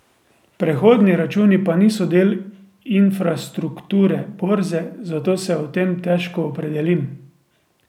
Prehodni računi pa niso del infrastrukture borze, zato se o tem težko opredelim.